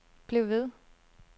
bliv ved